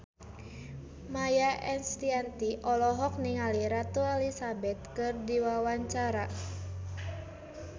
Maia Estianty olohok ningali Ratu Elizabeth keur diwawancara